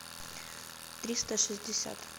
триста шестьдесят